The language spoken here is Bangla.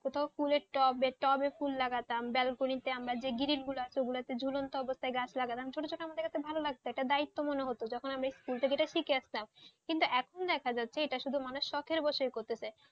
সেটা কুলের টপ বেচতে হবে ফুল লাগাতাম বেলকুনিতে আমরা যে giring গুলো আছে জুলন্ত অবস্থা গাছ লাগাতাম ছোট ছোটো আমাদের ভালো লাগতো একটা দায়িত্ব মনে হতো আমি যে school শিখে আসতাম কিন্তু এখন দেখা যাচ্ছে মানুষ সকের বসে করতেছে